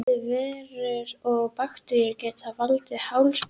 Bæði veirur og bakteríur geta valdið hálsbólgu.